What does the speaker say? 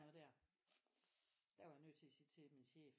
Noget der der var jeg nødt til at sige til min chef